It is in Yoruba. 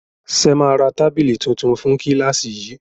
Ṣe ma ra tábìlì tuntun fún kílàsì yìí?